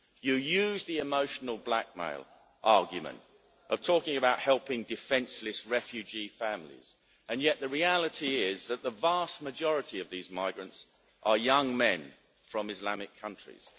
You use the emotional blackmail argument of talking about helping defenceless refugee families, and yet the reality is that the vast majority of these migrants are young men from Islamic countries.